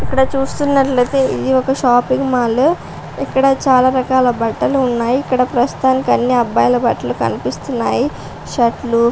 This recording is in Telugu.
ఇక్కడ చూస్తున్నట్లయితే ఇది ఒక షాపింగ్ మాల్ ఇక్కడ చాలా రకాల బట్టలు ఉన్నాయి ఇక్కడ ప్రస్తుతానికి అన్ని అబ్బాయిల బట్టలు కనిపిస్తున్నాయి. షర్ట్ లు --